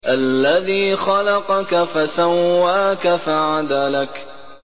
الَّذِي خَلَقَكَ فَسَوَّاكَ فَعَدَلَكَ